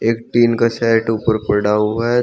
Tin का set ऊपर पड़ा हुआ है।